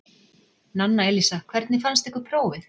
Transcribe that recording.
Nanna Elísa: Hvernig fannst ykkur prófið?